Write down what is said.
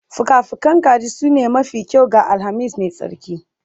Fuka-fukan kaji sune mafi kyau ga Alhamis mai tsarki